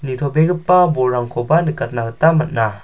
nitobegipa bolrangkoba nikatna gita man·a.